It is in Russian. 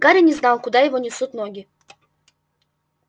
гарри не знал куда его несут ноги